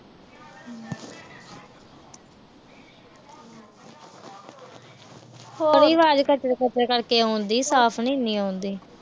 ਤੇਰੀ ਆਵਾਜ ਕਚਰ-ਕਚਰ ਕਰਦੇ ਆਉਣ ਡਈ। ਸਾਫ਼ ਨੀ ਇਨੀ ਆਉਣ ਡਈ।